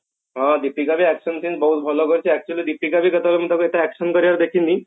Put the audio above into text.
ହଁ ଦୀପିକା ବି action seen ବହୁତ ଭଲ କରିଛି actually କେତେବେଳେ ମୁଁ ତାକୁ ଏତେ action କରିବାରେ ଦେଖିନି